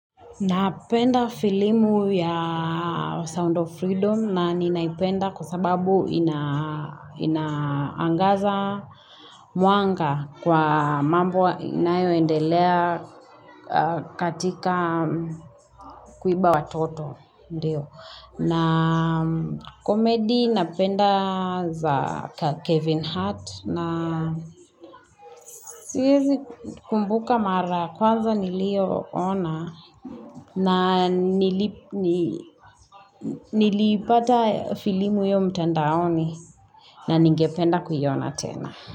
Napenda filamu ya Sound of Freedom na ninaipenda kwa sababu inaangaza mwanga kwa mambo inayoendelea katika kuiba watoto. Na comedy napenda za Kevin Hart na siwezi kumbuka mara ya kwanza nilioona na Niliipata filamu hiyo mtandaoni na ningependa kuiona tena.